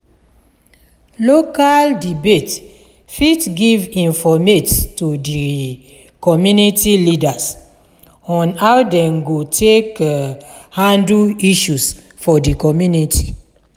local debate fit give informate to di community leaders on how dem go take handle issues for di community